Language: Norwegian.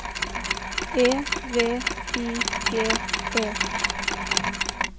E V I G E